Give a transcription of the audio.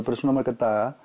bara svona marga daga